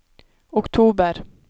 oktober